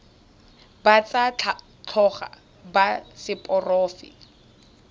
ba tsa tlhago ba seporofe